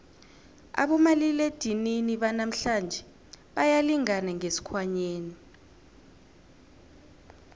abomaliledinini banamhlanje bayalingana ngesikhwanyeni